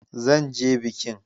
Zan je bikin.